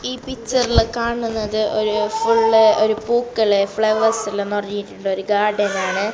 ഈ പിക്ചറില് കാണുന്നത് ഒരു ഫുള്ള് ഒരു പൂക്കള് ഫ്ലവേഴ്സ് എല്ലാം നിറഞ്ഞിട്ടുള്ളൊരു ഗാർഡൻ ആണ്.